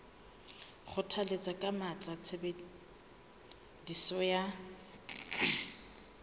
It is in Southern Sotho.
kgothalletsa ka matla tshebediso ya